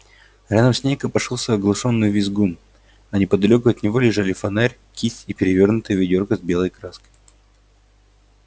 рядом с ней копошился оглушённый визгун а неподалёку от него лежали фонарь кисть и перевёрнутое ведёрко с белой краской